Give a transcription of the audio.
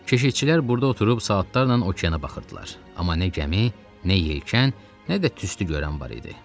Keşetçilər burada oturub saatlarla okeana baxırdılar, amma nə gəmi, nə yelkən, nə də tüstü görünən var idi.